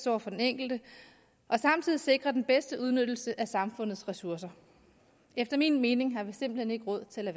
over for den enkelte og samtidig sikre den bedste udnyttelse af samfundets ressourcer efter min mening har vi simpelt hen ikke råd til at